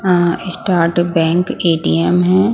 A start bank A_ T_ M है ।